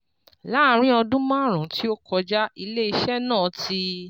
Láàárín ọdún márùn-ún tí ó kọjá, ilé iṣẹ́ náà ti